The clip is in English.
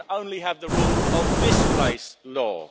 law. You can only have the rule of this-place